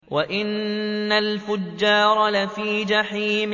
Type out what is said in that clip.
وَإِنَّ الْفُجَّارَ لَفِي جَحِيمٍ